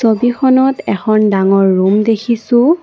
ছবিখনত এখন ডাঙৰ ৰুম দেখিছোঁ।